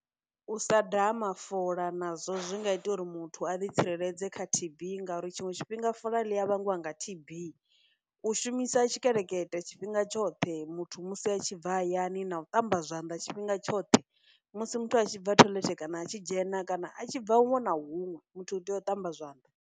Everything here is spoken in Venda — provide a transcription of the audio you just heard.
U sa daha mafola nazwo zwi nga ita uri muthu a ḓi tsireledza kha T_B ngauri tshiṅwe tshifhinga fola ḽi a vhangiwa nga T_B, u shumisa tshikelekete tshifhinga tshoṱhe muthu musi a tshi bva hayani, na u ṱamba zwanḓa tshifhinga tshoṱhe, musi muthu a tshi bva toilet, kana a tshi dzhena, kana a tshi bva huṅwe na huṅwe, muthu u tea u ṱamba zwanḓa.